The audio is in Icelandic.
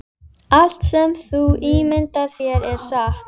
Þetta kemur glöggt fram í kaflanum um samkynhneigð.